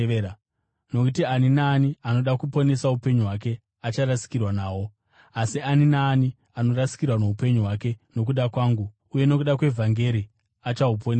Nokuti ani naani anoda kuponesa upenyu hwake acharasikirwa nahwo, asi ani naani anorasikirwa noupenyu hwake nokuda kwangu uye nokuda kwevhangeri achahuponesa.